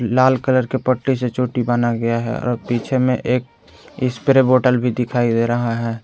लाल colour के पट्टे से चोटी बाना गया है पीछे में एक स्प्रे बोटल भी दिखाई दे रहा है।